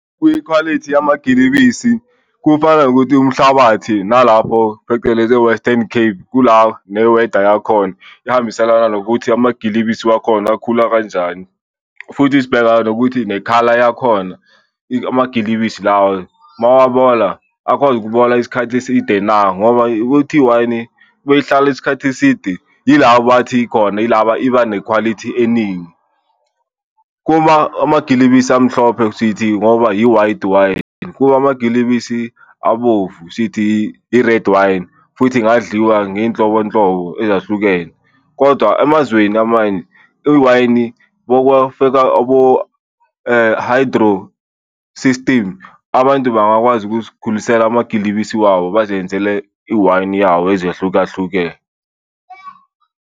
Kwikhwalithi yamagilibisi kufana nokuthi umhlabathi nalapho phecelezi e-Western Cape kula ne-weather yakhona ihambiselana nokuthi amagilibisi wakhona akhula kanjani. Futhi sibheka nokuthi nekhala yakhona amagilibisi lawo mawabola akwazi ukubola isikhathi eside na ngoba ukuthi iwayini beyihlala isikhathi eside ila bathi khona ilaba, iba nekhwalithi eningi. Amagilibisi amhlophe sithi ngoba i-white wine, kumagilibisi abomvu sithi i-red wine futhi ingadliwa ngeyinhlobonhlobo ezahlukene. Kodwa emazweni amanye i-wine okwafika hydro system, abantu bangakwazi ukuzikhulisela amagilibisi wabo bazenzele i-wine yawo ezehlukahlukene.